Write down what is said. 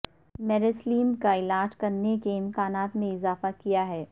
میریسلیم کا علاج کرنے کے امکانات میں اضافہ کیا ہے